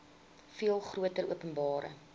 veel groter openbare